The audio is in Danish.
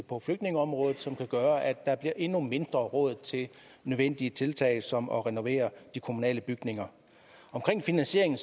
på flygtningeområdet som kan gøre at der bliver endnu mindre råd til nødvendige tiltag som at renovere de kommunale bygninger omkring finansieringen